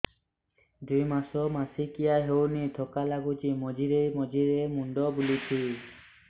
ଦୁଇ ମାସ ମାସିକିଆ ହେଇନି ଥକା ଲାଗୁଚି ମଝିରେ ମଝିରେ ମୁଣ୍ଡ ବୁଲୁଛି